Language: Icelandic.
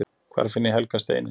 hvar finn ég „helga steininn“!